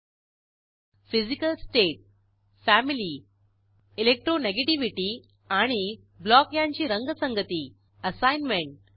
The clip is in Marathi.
1फिजीकल स्टेट 2फॅमिली 3इलेक्ट्रोनिगेटीव्हिटी आणि 4ब्लॉक यांची रंगसंगती असाईनमेंट